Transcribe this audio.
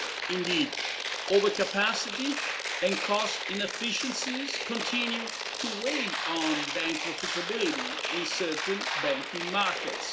Indeed, overcapacity and cost inefficiencies continue to weigh on bank profitability in certain banking markets.